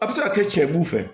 A bɛ se ka kɛ cɛ b'u fɛ